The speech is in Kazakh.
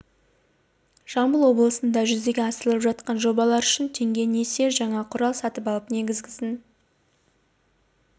жамбыл облысында жүзеге асырылып жатқан жобалар үшін теңге несие жаңа құрал сатып алып негізгісін